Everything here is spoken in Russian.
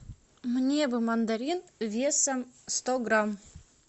мне бы мандарин весом сто грамм